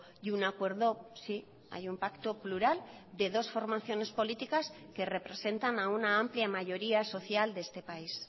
y un acuerdo sí hay un pacto plural de dos formaciones políticas que representan a una amplia mayoría social de este país